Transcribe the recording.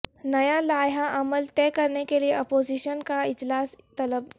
نیا لائحہ عمل طے کرنے کیلئے اپوزیشن کا اجلاس طلب